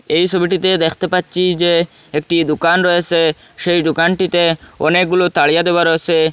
এই ছবিটিতে দেখতে পাচ্ছি যে একটি দুকান রয়েসে সেই দোকানটিতে অনেকগুলো তাড়িয়া দেওয়া রয়েসে ।